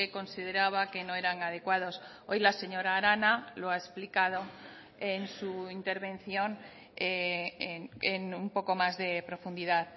consideraba que no eran adecuados hoy la señora arana lo ha explicado en su intervención en un poco más de profundidad